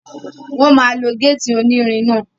Wọ́n máa lo gétì onírin náà